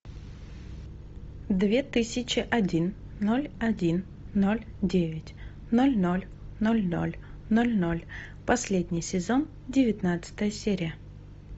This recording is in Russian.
две тысячи один ноль один ноль девять ноль ноль ноль ноль ноль ноль последний сезон девятнадцатая серия